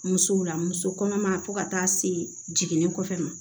Musow la muso kɔnɔma fo ka taa se jiginni kɔfɛ